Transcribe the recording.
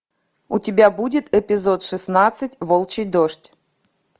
у тебя будет эпизод шестнадцать волчий дождь